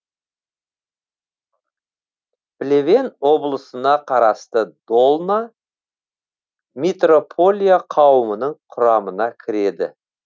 плевен облысына қарасты долна митрополия қауымының құрамына кіреді